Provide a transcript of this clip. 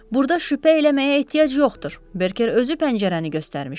Burda şübhə eləməyə ehtiyac yoxdur, Berker özü pəncərəni göstərmişdi.